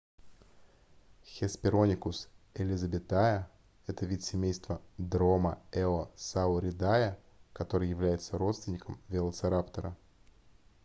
hesperonychus elizabethae это вид семейства dromaeosauridae который является родственником велоцираптора